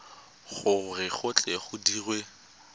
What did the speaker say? gore go tle go dirwe